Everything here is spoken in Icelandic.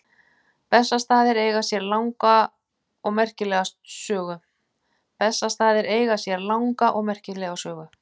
Bessastaðir eiga sér langa og merkilega sögu.